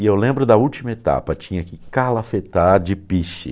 E eu lembro da última etapa, tinha que calafetar de piche.